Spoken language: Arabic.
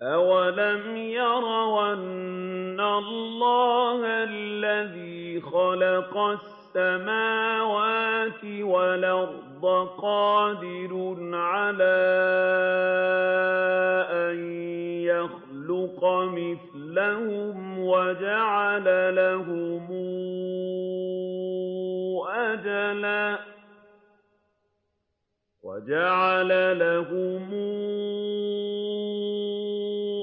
۞ أَوَلَمْ يَرَوْا أَنَّ اللَّهَ الَّذِي خَلَقَ السَّمَاوَاتِ وَالْأَرْضَ قَادِرٌ عَلَىٰ أَن يَخْلُقَ مِثْلَهُمْ وَجَعَلَ لَهُمْ